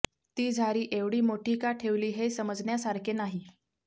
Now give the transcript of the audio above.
ती झारी एवढी मोठी का ठेवली हे समजण्यासारखे नाही